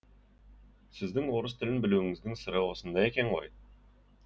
сіздің орыс тілін білуіңіздің сыры осында екен ғой